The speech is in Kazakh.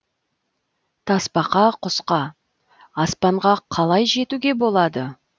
тасбақа құсқа аспанға қалай жетуге болады